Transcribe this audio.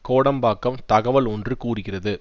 கோடம்பாக்கம் தகவல் ஒன்று கூறுகிறது